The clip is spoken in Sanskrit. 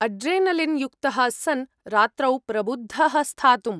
अड्रेनलिन् युक्तः सन्, रात्रौ प्रबुद्धः स्थातुम्।